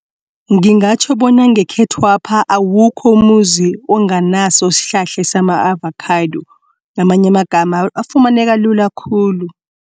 Ngingatjho bona ngekhethwapha awukho umuzi onganaso isihlahla sama-avokhado ngamanye amagama afumaneka lula khulu.